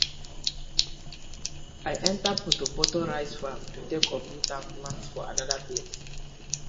i enta portor portor rice farm to take uproot am plant for another place